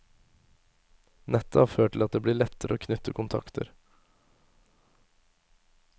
Nettet har ført til at det blir lettere å knytte kontakter.